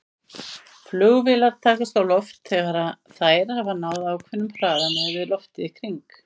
Flugvélar takast á loft þegar þær hafa náð ákveðnum hraða miðað við loftið í kring.